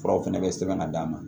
Furaw fana bɛ sɛbɛn ka d'a ma